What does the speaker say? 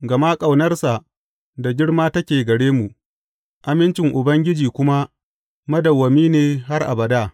Gama ƙaunarsa da girma take gare mu, amincin Ubangiji kuma madawwami ne har abada.